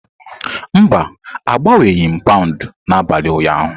Mba, agbanweghị m pound n'abalị ụnyaahụ.